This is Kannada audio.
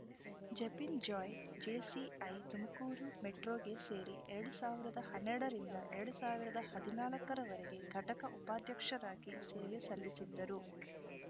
ಜೆಪಿನ್‌ ಜಾಯ್‌ ಜೆಸಿಐ ತುಮಕೂರು ಮೆಟ್ರೋಗೆ ಸೇರಿ ಎರಡ್ ಸಾವಿರದ ಹನ್ನೆರಡರಿಂದ ಎರಡ್ ಸಾವಿರದ ಹದಿನಾಲ್ಕರ ವರೆಗೆ ಘಟಕದ ಉಪಾಧ್ಯಕ್ಷರಾಗಿ ಸೇವೆ ಸಲ್ಲಿಸಿದ್ದರು